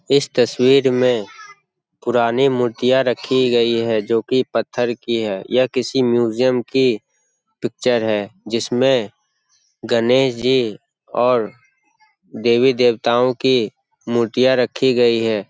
इस तस्वीर में पुरानी मूर्तियां रखी गई है जो की पत्थर की है यह किसी म्यूजियम की पिक्चर है। जिसमें गणेश जी और देवी देवताओं की मूर्तियां रखी गई है।